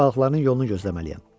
balıqların yolunu gözləməliyəm.